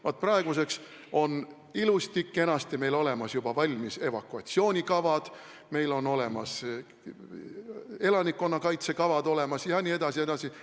Vaat praeguseks on meil ilusti-kenasti olemas valmis evakuatsioonikavad, meil on olemas elanikkonnakaitse kavad jne, jne.